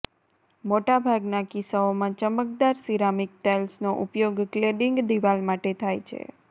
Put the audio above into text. મોટાભાગનાં કિસ્સાઓમાં ચમકદાર સીરામીક ટાઇલ્સનો ઉપયોગ ક્લેડીંગ દિવાલ માટે થાય છે